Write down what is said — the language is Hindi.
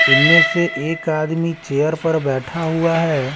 इनमें से एक आदमी चेयर पर बैठा हुआ है।